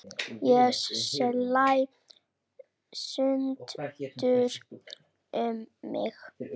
Ég slæ stundum um mig.